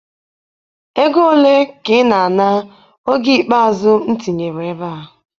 Ego ole ka ị na-ana oge ikpeazụ m tinyere ebe a?